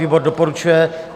Výbor doporučuje.